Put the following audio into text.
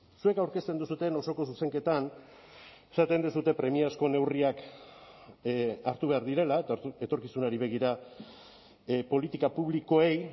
zuek aurkezten duzuen osoko zuzenketan esaten duzue premiazko neurriak hartu behar direla eta etorkizunari begira politika publikoei